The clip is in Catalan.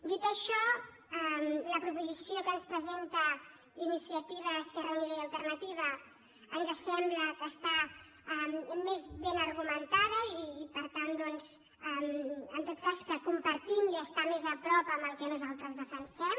dit això la proposició que ens presenta iniciativa esquerra unida i alternativa ens sembla que està més ben argumentada i per tant doncs en tot cas la compartim i està més a prop del que nosaltres defensem